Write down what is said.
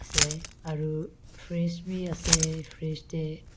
se aru fridge bi ase fridge tae.